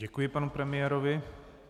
Děkuji panu premiérovi.